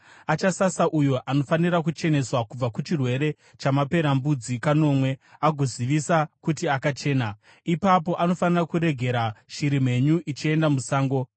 Achasasa uyo anofanira kucheneswa kubva kuchirwere chamaperembudzi kanomwe, agozivisa kuti akachena. Ipapo anofanira kuregera shiri mhenyu ichienda musango.